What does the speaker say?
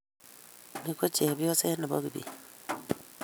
Ni ko chepyoset nebo Kibet